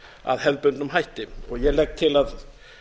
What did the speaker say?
að hefðbundnum hætti ég legg til að að